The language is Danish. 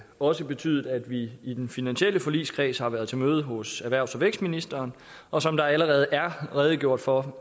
også betydet at vi i den finansielle forligskreds har været til møde hos erhvervs og vækstministeren og som der allerede er redegjort for